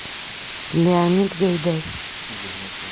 леонид гайдай